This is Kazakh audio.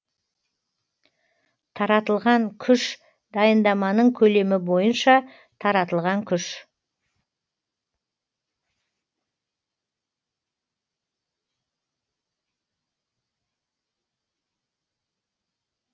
таратылған күш дайындаманың көлемі бойынша таратылған күш